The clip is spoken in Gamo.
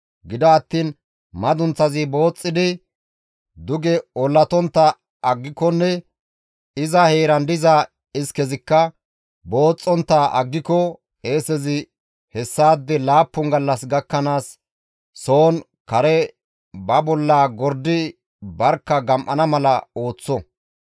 Gido attiin madunththazi booxxidi duge ollatontta aggikonne iza heeran diza iskezikka booxxontta aggiko qeesezi hessaade laappun gallas gakkanaas soon kare ba bolla gordi barkka gam7ana mala ooththo.